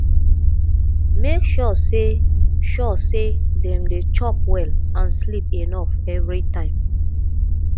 make sure say sure say dem dey chop well and sleep enough every time